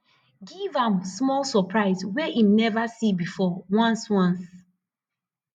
giv am smal soprise wey em neva see bifor ones ones